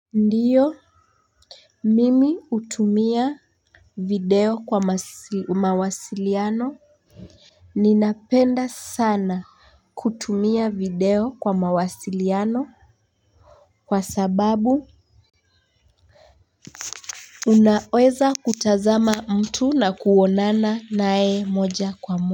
Ndiyo, mimi hutumia video kwa mawasiliano. Ninapenda sana kutumia video kwa mawasiliano kwa sababu unaweza kutazama mtu na kuonana naye moja kwa moja.